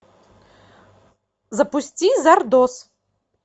запусти зардоз